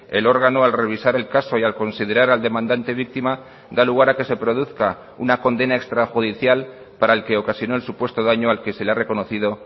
el órgano al revisar el caso y al considerar al demandante víctima da lugar a que se produzca una condena extrajudicial para el que ocasionó el supuesto daño al que se le ha reconocido